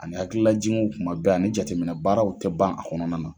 Ani hakililajiginw kuma bɛɛ ani jateminɛ baaraw tɛ ban a kɔnɔn